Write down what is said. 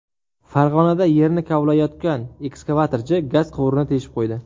Farg‘onada yerni kovlayotgan ekskavatorchi gaz quvurini teshib qo‘ydi.